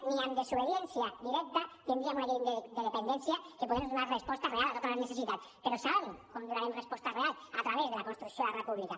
ni amb desobediència directa tindríem una llei de dependència que pogués donar resposta real a totes les necessitats però saben com hi donarem resposta real a través de la construcció de la república